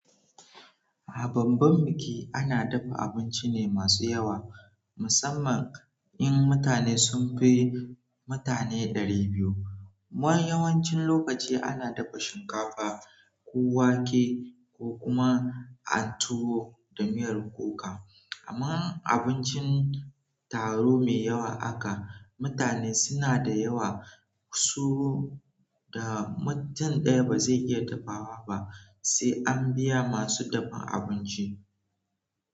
A bamban biki ana dafa abinci ne masu yawa, musamman in mutane sun fi mutane ɗari biyu. Wani yawancin lokaci ana dafa shinkafa ko wake ko kuma an tuwo da miyar kuka. Amma abincin taro mai yawa aka, mutane suna da yawa, su da mutum ɗaya ba zai iya dafawa ba sai an biya masu dafan abinci.